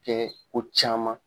kɛ ko caman